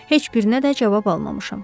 Heç birinə də cavab almamışam.